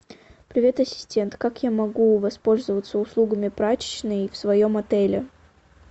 привет ассистент как я могу воспользоваться услугами прачечной в своем отеле